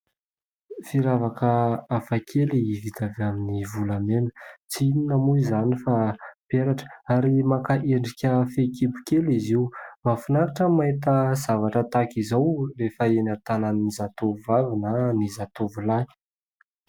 Firavaka hafakely vita avy amin'ny volamena, tsy inona moa izany fa"peratra" ary maka endrika fehikibo kely izy io. Mahafinaritra ny mahita zavatra tahaka izao rehefa eny an-tanan'ny zatovovavy na ny zatovolahy.